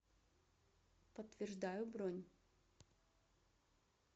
подтверждаю бронь